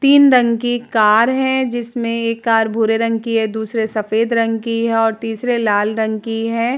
तीन रंग की कार है। जिसमें एक कार भूरे रंग की हैदूसरे सफेद रंग की है और तीसरे लाल रंग की है।